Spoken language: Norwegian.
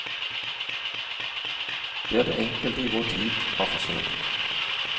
Det er det enkelte i vår tid har forsøkt.